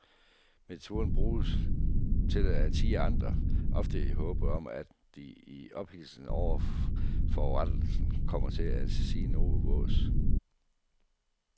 Metoden bruges til at tirre andre, ofte i håbet om at de i ophidselsen over forurettelsen kommer til at sige noget vås.